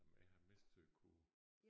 Jamen jeg har mest til kurv